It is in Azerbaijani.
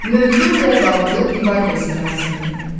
Mövzu ilə bağlı divar qəzeti hazırlayın.